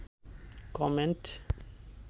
comment